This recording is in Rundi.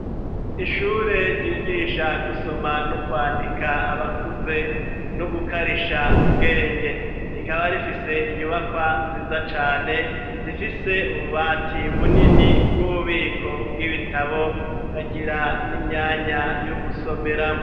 Ishure ryigisha gusoma n'ukwandika abakuze n'ugukarisha ubwenge rikaba rifise inyubakwa nziza cane zifise ububati bunini bw'ububiko bw'ibitabo kagira n'imyanya yo gusomerawo.